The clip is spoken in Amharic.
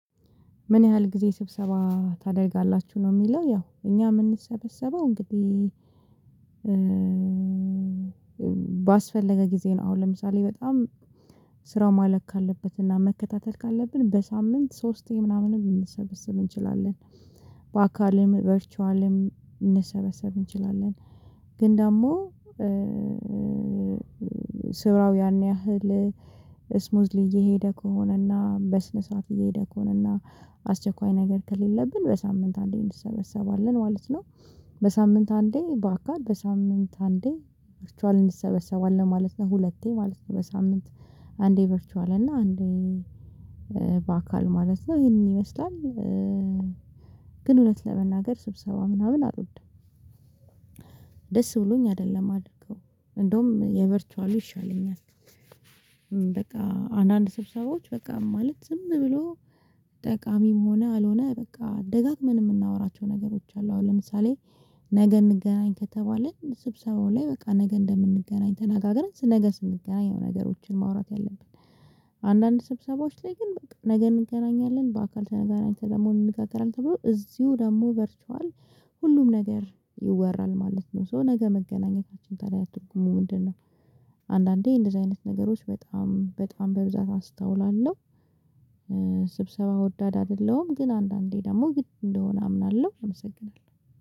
ምን ያህል ጊዜ ስብሰባ ታደርጋላችሁ? ነው የሚለው ያው እኛ የምንሰበሰበው እንግዲህ ባስፈለገ ጊዜ ነው አሁን ለምሳሌ በጣም ስራው ማለቅ ካለበት እና መከታተል ካለብን በሳምንት ሶስት ምናምን ልንሰበስብ እንችላለን። በአካልም ቨርቹዋልም ልንሰበሰብ እንችላለን ግን ደግሞ ስራው ያን ያህል ስሙዝሊ እየሄደ ከሆነና በስነ ስርዓት እየሄደ ከሆነና አስቸኳይ ነገር ከሌለብን በሳምንት አንዴ እንዲሰበሰባለን ማለት ነው። በሳምንት አንዴ ባካል በሳምንት አንዴ ቨርቹዋል እንሰበሰባለን ማለት ነው ሁለቴ ማለት ነው በሳምንት አንዴ ቨርቹዋል እና አንዴ በአካል ማለት ነው ይህንን ይመስላል። ግን እውነት ለመናገር ስብሰባ ምናምን አልወድም። ደስ ብሎኝ አይደለም ማደረገውም እንደውም የቨርቹዋሉ ይሻለኛል በቃ አንዳንድ ስብሰባዎች በቃ ማለት ዝም ብሎ ጠቃሚም ሆነ አልሆነ በቃ ደጋግመን የምናወራቸው ነገሮች አሉ አሁን ለምሳሌ ነገ እንገናኝ ከተባለ ስብሰባው ላይ በቃ ነገ እንደምንገናኝ ተናጋግረን ነገ ስንገናኝ ነገሮችን ማውራት የለብንም አንዳንድ ስብሰባዎች ግን በቃ ነገ እንገናኛለን በአካል ተገናኝተን ደግሞ እንነጋገራለን ተብሎ እዚሁ ደግሞ ቨርችዋል ሁሉም ነገር ይወራል ማለት ነው ሶ ነገ መገናኘታችን ታዲያ ያደርጉሙ ምንድነው አንዳንዴ እንደዚህ አይነት ነገሮች በጣም በጣም በብዛት አስታውላለሁ፣ ስብሰባ ወዳድ አይደለሁም ግን አንዳንዴ ደግሞ ግድ እንደሆነ አምናለሁ አመሰግናለሁ።